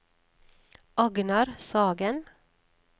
Agnar Sagen